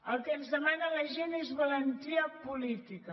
el que ens demana la gent és valentia política